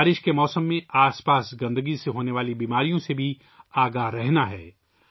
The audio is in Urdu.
بارش کے موسم میں آس پاس کی گندگی سے ہونے والی بیماریوں کے تئیں بھی ہمیں محتاط رہنا ہے